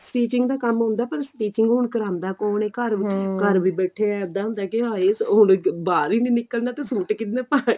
stitching ਦਾ ਕੰਮ ਆਉਂਦਾ ਪਰ stitching ਹੁਣ ਕਰਾਉਂਦਾ ਕੋਣ ਏ ਘਰ ਘਰਵੀ ਬੈਠੇ ਏਂ ਇੱਦਾਂ ਹੁੰਦਾ ਵੀ ਕੀ ਹਾਏ ਹੁਣ ਬਾਹਰ ਹੀ ਨਹੀਂ ਨਿਕਲਣਾ ਤਾਂ ਸੂਟ ਕੀ ਪਾਣੇ